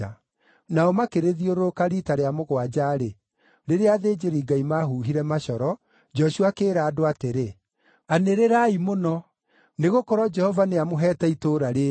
Nao makĩrĩthiũrũrũka riita rĩa mũgwanja-rĩ, rĩrĩa athĩnjĩri-Ngai maahuhire macoro, Joshua akĩĩra andũ atĩrĩ, “Anĩrĩrai mũno! Nĩgũkorwo Jehova nĩamũheete itũũra rĩĩrĩ!